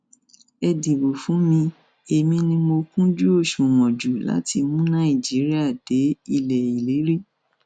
ẹ dìbò fún mi èmi ni mo kúnjú òṣùwọn jù láti mú nàìjíríà dé ilé ìlérí